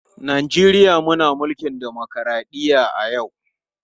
Najeriya muna mulkin dimokradɗiyya a yau.